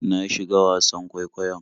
Na shiga wasan kwaikwayon.